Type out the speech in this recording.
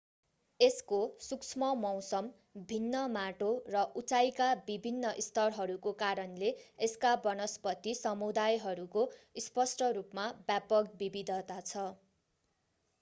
यसको सूक्ष्ममौसम भिन्न माटो र उचाइका विभिन्न स्तरहरूको कारणले यसका वनस्पती समुदायहरूको स्पष्ट रूपमा व्यापक विविधता छ